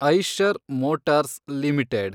Eicher motors limited